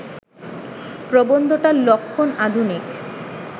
প্রবন্ধটার লক্ষণ আধুনিক